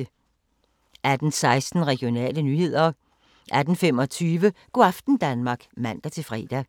18:16: Regionale nyheder 18:25: Go' aften Danmark (man-fre)